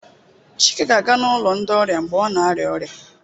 Chike ga-aga n'ụlọ ndi ọrịa mgbe ọ na-arịa ọrịa